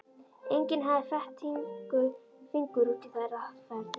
Enginn hafði fett fingur út í þær aðferðir.